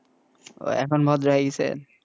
ওহ এখন ভদ্র হয়ে গেসেন,